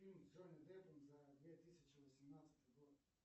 фильм с джонни деппом за две тысячи восемнадцатый год